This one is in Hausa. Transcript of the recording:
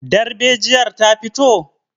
darbejiyar ta fito?